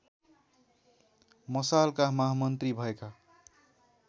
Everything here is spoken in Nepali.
मशालका महामन्त्री भएका